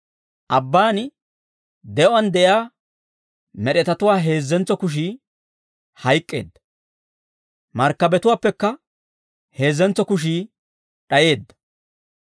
Abbaan de'uwaan de'iyaa med'etatuwaa heezzentso kushii hayk'k'eedda; markkabetuwaappekka heezzentso kushii d'ayeedda.